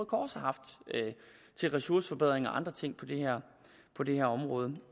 kors har haft til ressourceforbedringer og andre ting på det her område det